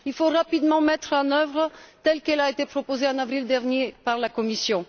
Il faut rapidement la mettre en œuvre telle qu'elle a été proposée en avril dernier par la Commission.